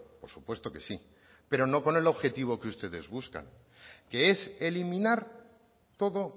por supuesto que sí pero no con el objetivo que ustedes buscan que es eliminar todo